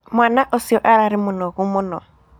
Mwaana ũcio ararĩ mũnogu mũno.